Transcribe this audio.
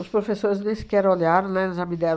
professores nem sequer olharam, né, já me deram...